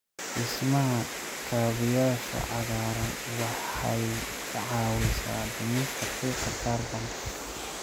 Dhismaha kaabayaasha cagaaran waxay ka caawisaa dhimista qiiqa kaarboon-da.